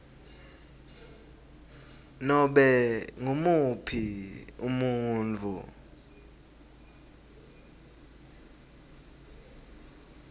nobe ngumuphi umuntfu